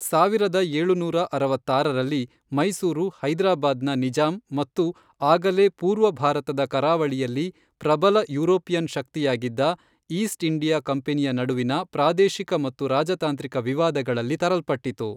ಸಾವಿರದ ಏಳುನೂರ ಅರವತ್ತಾರರಲ್ಲಿ ಮೈಸೂರು ಹೈದ್ರಾಬಾದ್ ನ ನಿಜಾಮ್ ಮತ್ತು, ಆಗಲೇ ಪೂರ್ವ ಭಾರತದ ಕರಾವಳಿಯಲ್ಲಿ ಪ್ರಬಲ ಯುರೋಪಿಯನ್ ಶಕ್ತಿಯಾಗಿದ್ದ, ಈಸ್ಟ್ ಇಂಡಿಯಾ ಕಂಪನಿಯ ನಡುವಿನ ಪ್ರಾದೇಶಿಕ ಮತ್ತು ರಾಜತಾಂತ್ರಿಕ ವಿವಾದಗಳಲ್ಲಿ ತರಲ್ಪಟ್ಟಿತು.